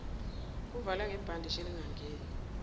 kuvalwe ngebhandishi elingangeni